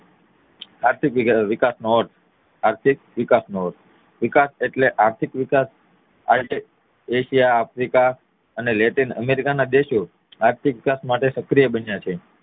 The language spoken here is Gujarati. આર્થિક વિકાસ નો અર્થ આર્થિક વિકાસ નો અર્થ વિકાસ એટલે આર્થિક વિકાસ એટલે એશિયા આફ્રિકા અને લેટિન અમેરિકા ના દેશો આર્થિક વિકાસ માટે સક્રિય બન્યા છે